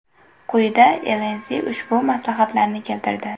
Quyida Inc ushbu maslahatlarni keltirdi .